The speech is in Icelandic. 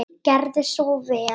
Gerðu svo vel.